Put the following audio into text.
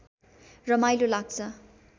रमाइलो लाग्छ